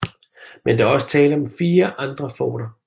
Men der var også tale om 4 andre forter